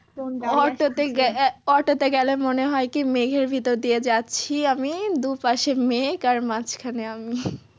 Auto তে গেলে মনে হয় কি মেঘের ভেতর দিয়ে যাচ্ছি আমি দুপাশে মেঘ আর মাঝখানে আমি।